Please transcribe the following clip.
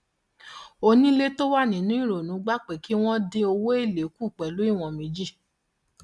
onílé tó wà nínú ìrònú gbà pé kí wọn dín owó èlé kù pẹlú ìwọn méjì